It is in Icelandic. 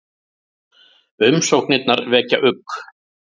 Umsóknirnar vekja ugg